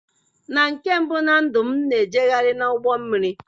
na nke mbụ na ndụ m, m na-ejegharị n'ụgbọ mmiri.